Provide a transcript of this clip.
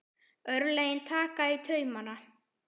Örlögin taka í taumana